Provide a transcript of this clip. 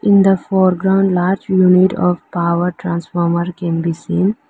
In the foreground large unit of power transformer can be seen.